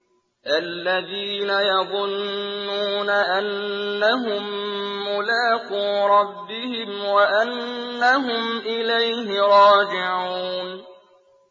الَّذِينَ يَظُنُّونَ أَنَّهُم مُّلَاقُو رَبِّهِمْ وَأَنَّهُمْ إِلَيْهِ رَاجِعُونَ